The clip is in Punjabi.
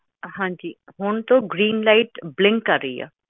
ਹਾਂਜੀ ਹੁਣ ਤੋਂ ਗ੍ਰੀਨ ਲਾਈਟ ਬਲਿੰਕ ਕਰ ਰਹੀ ਆ